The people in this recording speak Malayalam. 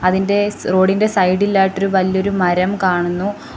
അതിൻ്റെ സ് റോഡ് ഇൻ്റെ സൈഡിലായിട്ട് ഒരു വല്ല്യൊരു മരം കാണുന്നു.